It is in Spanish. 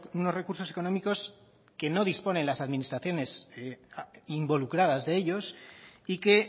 unos recursos económicos que no disponen las administraciones involucradas de ellos y que